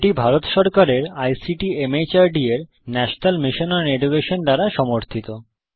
এটি ভারত সরকারের আইসিটি মাহর্দ এর ন্যাশনাল মিশন ওন এডুকেশন দ্বারা সমর্থিত